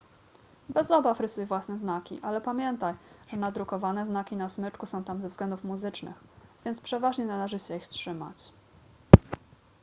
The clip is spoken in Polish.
bez obaw rysuj własne znaki ale pamiętaj że nadrukowane znaki na smyczku są tam ze względów muzycznych więc przeważnie należy się ich trzymać